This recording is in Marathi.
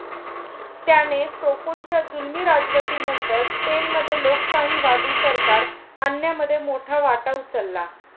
त्याने फ्रोकोंच्या जुलमी राजवटीनंतर स्पेनमध्ये लोकशाहीवादी सरकार आणण्यामध्ये मोठा वाटा उचलला.